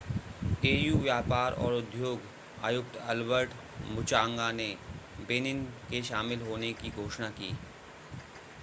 AU व्यापार और उद्योग आयुक्त अल्बर्ट मुचांगा ने बेनिन के शामिल होने की घोषणा की